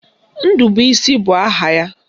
Ndubuisi bụ aha ya